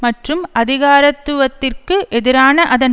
மற்றும் அதிகாரத்துவத்திற்கு எதிரான அதன்